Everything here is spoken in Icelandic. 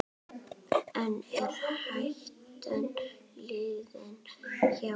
En er hættan liðin hjá?